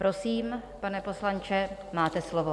Prosím, pane poslanče, máte slovo.